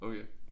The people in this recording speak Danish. Okay